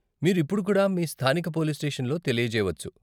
మీరు ఇప్పుడు కూడా మీ స్థానిక పోలీస్ స్టేషన్లో తెలియజేయవచ్చు.